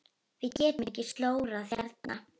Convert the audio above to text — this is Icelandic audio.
Við getum ekki slórað hérna.